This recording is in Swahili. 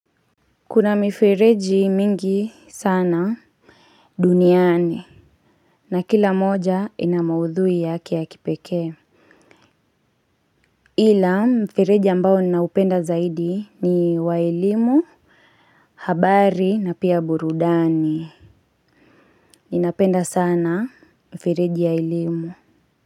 Kuna mifereji mingi sana duniani. Na kila moja ina maudhui yake ya kipeke. Ila mifereji ambao ninaupenda zaidi ni wa elimu. Habari na pia burudani. Ninapenda sana mifireji ya ilimu.